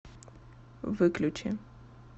выключи